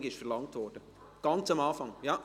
Ganz am Anfang wurde es verlangt. .